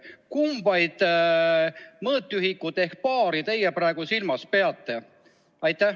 Kumba mõõtühikut ehk baari teie praegu silmas peate?